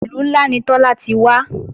Ìlú ńlá ni Tọ́lá ti wá